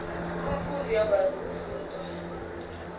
umfundi uyakwazi ukufunda